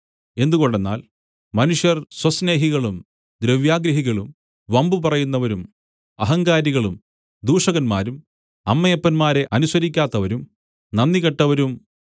എന്തുകൊണ്ടെന്നാൽ മനുഷ്യർ സ്വസ്നേഹികളും ദ്രവ്യാഗ്രഹികളും വമ്പു പറയുന്നവരും അഹങ്കാരികളും ദൂഷകന്മാരും അമ്മയപ്പന്മാരെ അനുസരിക്കാത്തവരും നന്ദികെട്ടവരും അശുദ്ധരും